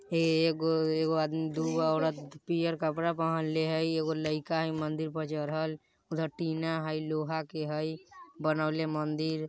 एगो-एगो आदमी दूगो औरत पियर कपड़ा पहिनले हई एगो लइका हई मंदिर पर चढ़ल उधर टीना हई लोहा के हई बनवले मंदिर।